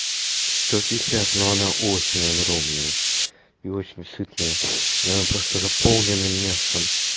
сто пятьдесят но она очень огромная и очень сытная она просто заполнена мясом